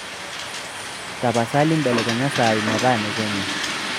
tapasali belekenya saai metaa ne kenya